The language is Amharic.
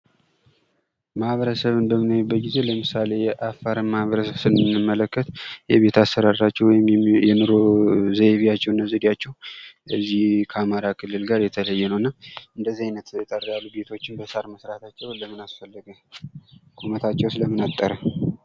ማኅበረሰብን በምናይበት ጊዜ ለምሳሌ የአፋርን ማኅበረሰብ ስንመለከት የቤት አሰራራቸው ወይም የኑሮ ዘይቤያቸው እና ዘዴያቸው እዚህ ከአማራ ክልል ጋር የተለየ ነው እና እንደዚህ አይነት አጠር ያሉ ቤቶችን በሳር መስራታቸው ለምን አስፈለገ? ቁመታቸውስ ለምን አጠረ?